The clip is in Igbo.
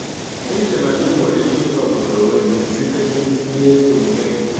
Echela na ị nwere ike ịzọpụta onwe gị site n’ezi omume gị.